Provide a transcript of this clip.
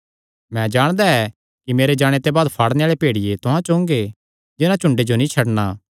मैं जाणदा ऐ कि मेरे जाणे ते बाद फाड़णे आल़े भेड़िये तुहां च ओंगे जिन्हां झुंडे जो नीं छड्डणा